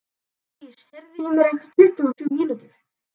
Marlís, heyrðu í mér eftir tuttugu og sjö mínútur.